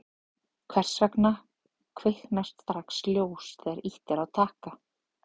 hvers vegna kviknar strax ljós þegar ýtt er á takka